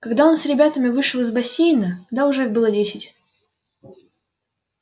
когда он с ребятами вышел из бассейна да уже было десять